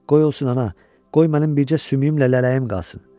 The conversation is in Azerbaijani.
Qoy olsun ana, qoy mənim bircə sümüyümlə lələyim qalsın.